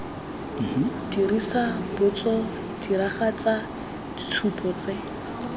dirisa botso diragatsa ditshupo tse